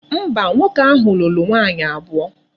Mba, nwoke ahu lulu nwaanyi abuo.